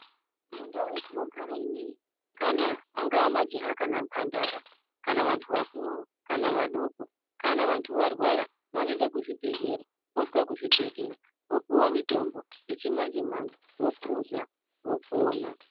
Mundau yetinogara inei kana angaa majaha kana mhandara kana vantu vakuru kana vadoko kana antu varwara vanoenda kuzvibhedhlera vosvika kuzvibhedhlera vopuwa mutombo yechimanje manje bophuza vopona.